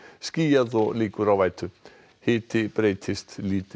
skýjað og líkur á vætu hiti breytist lítið